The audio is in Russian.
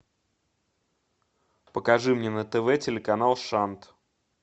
покажи мне на тв телеканал шант